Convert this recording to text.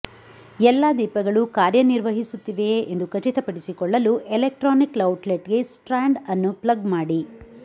ಎಲ್ಲಾ ದೀಪಗಳು ಕಾರ್ಯನಿರ್ವಹಿಸುತ್ತಿವೆಯೆ ಎಂದು ಖಚಿತಪಡಿಸಿಕೊಳ್ಳಲು ಎಲೆಕ್ಟ್ರಾನಿಕ್ ಔಟ್ಲೆಟ್ಗೆ ಸ್ಟ್ರಾಂಡ್ ಅನ್ನು ಪ್ಲಗ್ ಮಾಡಿ